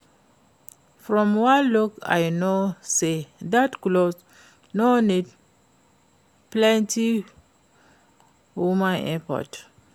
From one look I know say dat cloth no need plenty human effort